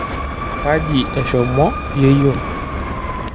Kaji eshomo yeyio?